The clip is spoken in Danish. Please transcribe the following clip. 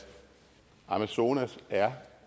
amazonas